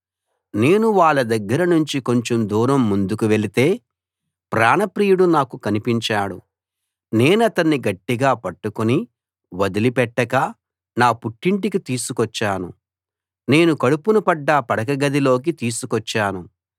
నేను వాళ్ళ దగ్గర నుంచి కొంచెం దూరం ముందుకు వెళితే ప్రాణప్రియుడు నాకు కనిపించాడు నేనతన్ని గట్టిగా పట్టుకుని వదలిపెట్టక నా పుట్టింటికి తీసుకొచ్చాను నేను కడుపున పడ్డ పడకగది లోకి తీసుకొచ్చాను